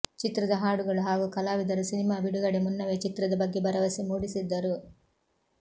ಚಿತ್ರದ ಹಾಡುಗಳು ಹಾಗೂ ಕಲಾವಿದರು ಸಿನಿಮಾ ಬಿಡುಗಡೆ ಮುನ್ನವೇ ಚಿತ್ರದ ಬಗ್ಗೆ ಭರವಸೆ ಮೂಡಿಸಿದ್ದರು